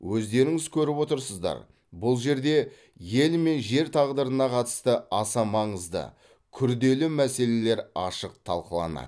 өздеріңіз көріп отырсыздар бұл жерде ел мен жер тағдырына қатысты аса маңызды күрделі мәселелер ашық талқыланады